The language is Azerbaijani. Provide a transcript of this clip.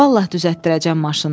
"Vallah düzəltdirəcəm maşınını.